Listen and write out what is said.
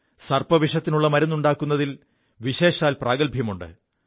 സർപ്പവിഷത്തിനുള്ള മരുുണ്ടാക്കുതിൽ വിശേഷാൽ പ്രാഗൽഭ്യമുണ്ട്